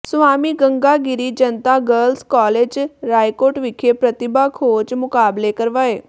Swami Ganga Giri Janta girls college Raikot ਵਿਖੇ ਪ੍ਰਤਿਭਾ ਖੋਜ ਮੁਕਾਬਲੇ ਕਰਵਾਏ